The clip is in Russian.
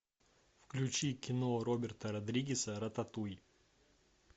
включи кино роберта родригеса рататуй